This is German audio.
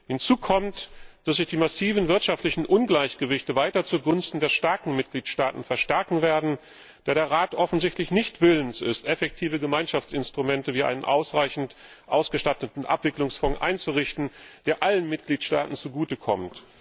Hinzu kommt, dass sich die massiven wirtschaftlichen Ungleichgewichte weiter zugunsten der starken Mitgliedstaaten verstärken werden, da der Rat offensichtlich nicht willens ist, effektive Gemeinschaftsinstrumente wie einen ausreichend ausgestatteten Abwicklungsfonds einzurichten, der allen Mitgliedstaaten zugutekommt.